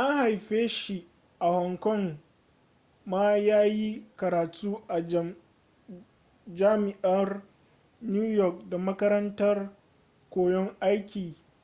an haife shi a hong kong ma ya yi karatu a jami'ar new york da makarantar koyon